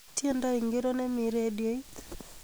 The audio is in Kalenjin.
Tendo ingiro nemi redioit